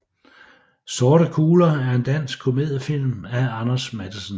Sorte kugler er en dansk komediefilm af Anders Matthesen